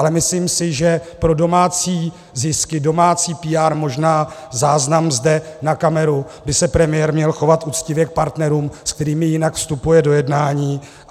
Ale myslím si, že pro domácí zisky, domácí PR možná záznam zde na kameru by se premiér měl chovat uctivě k partnerům, se kterými jinak vstupuje do jednání.